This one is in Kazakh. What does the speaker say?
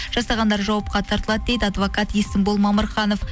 жасағандар жауапқа тартылады дейді адвокат есімбол мамырханов